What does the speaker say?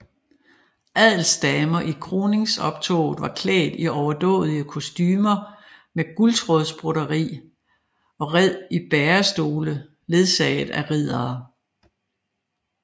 Adelsdamer i kroningsoptoget var klædt i overdådige kostumer med guldtråds broderi og red i bærestole ledsaget af riddere